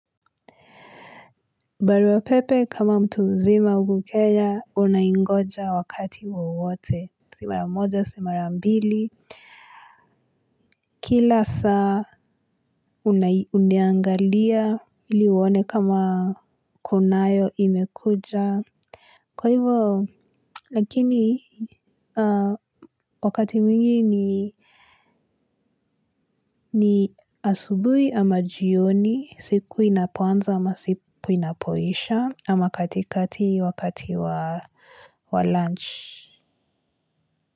Barua pepe kama mtu uzima ukukenya, unaingoja wakati wawote. Simara moja, simara mbili. Kila saa, uniangalia ili uone kama kunayo imekuja. Kwa hivo, lakini, wakati mingi ni asubui ama jioni, siku inapoanza ama siku inapoisha. Ama katikati wakati wa lunch.